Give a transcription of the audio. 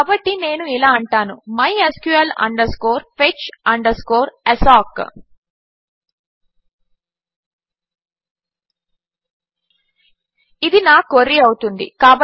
కాబట్టి నేను ఇలా అంటాను mysqul fetch assoc ఇది నా క్వెరీ అవుతుంది